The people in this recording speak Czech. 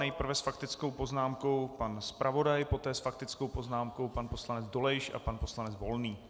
Nejprve s faktickou poznámkou pan zpravodaj, poté s faktickou poznámkou pan poslanec Dolejš a pan poslanec Volný.